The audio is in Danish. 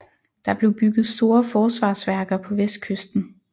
Der blev bygget store forsvarsværker på vestkysten